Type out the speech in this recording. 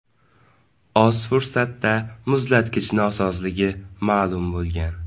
Oz fursatda muzlatgich nosozligi ma’lum bo‘lgan.